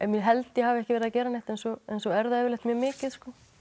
ég held ég hafi ekki verið að gera neitt en svo en svo er það yfirleitt mjög mikið